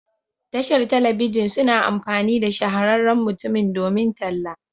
Tashar telebijin suna amfani da shahararren mutumin domin talla.